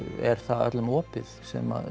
er það öllum opið sem